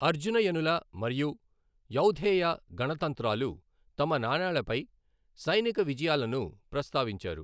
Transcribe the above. అర్జునయనుల మరియు యౌధేయ గణతంత్రాలు తమ నాణేలపై సైనిక విజయాలను ప్రస్తావించారు.